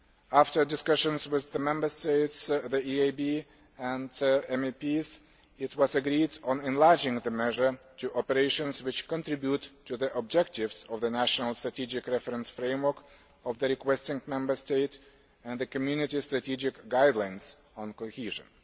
After discussions with the Member States, the EIB and MEPs, it was agreed to enlarge the measure to operations which contribute to the objectives of the national strategic reference framework of the requesting Member State and the Community strategic guidelines on cohesion.